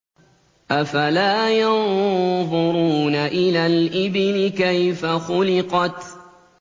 أَفَلَا يَنظُرُونَ إِلَى الْإِبِلِ كَيْفَ خُلِقَتْ